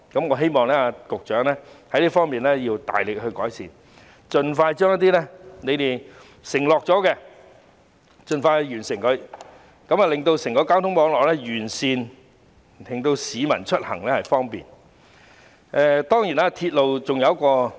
我希望局長在這方面要大力改善，盡快實現政府的承諾，完善整個交通網絡，令市民出行更為方便。